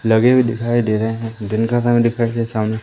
लगे हुए दिखाई दे रहे हैं दिन का समय दिखाइ दे सामने--